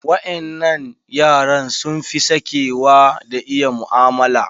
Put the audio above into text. Waƴannan yaran sun fi sakewa da iya mu'amala.